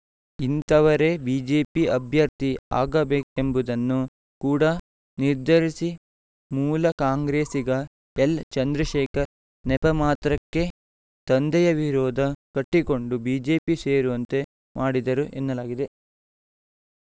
ಇಂತಹವರೇ BJP ಅಭ್ಯರ್ಥಿ ಆಗಬೇಕೆಂಬುದನ್ನು ಕೂಡ ನಿರ್ಧರಿಸಿ ಮೂಲ ಕಾಂಗ್ರೆಸಿಗ ಎಲ್‌ ಚಂದ್ರಶೇಖರ್‌ ನೆಪಮಾತ್ರಕ್ಕೆ ತಂದೆಯ ವಿರೋಧ ಕಟ್ಟಿಕೊಂಡು ಬಿಜೆಪಿ ಸೇರುವಂತೆ ಮಾಡಿದರು ಎನ್ನಲಾಗಿದೆ